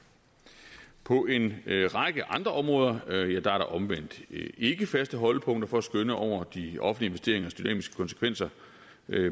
på en række andre områder er der omvendt ikke faste holdepunkter for at skønne over de offentlige investeringers dynamiske konsekvenser